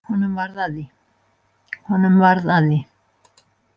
Honum varð að því.